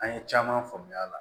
An ye caman faamuya a la